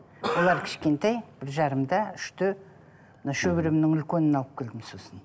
олар кішкентай бір жарымда үште мына шөберемнің үлкенін алып келдім сосын